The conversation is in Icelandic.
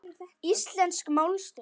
Íslensk málstöð